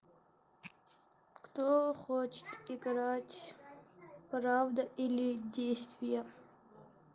кто хочет играть правда или действие